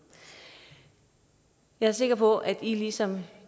jeg er sikker på at i ligesom